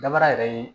Dabara yɛrɛ ye